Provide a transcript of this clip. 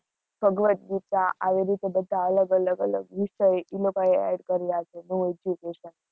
ભગવતગીતા, આવી રીતે બધા અલગ-અલગ અલગ વિષય, એ લોકોએ add કર્યા છે, નવું education